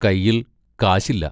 കൈയിൽ കാശില്ല.